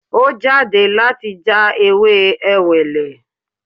Ó jáde láti já ewé Ewèlè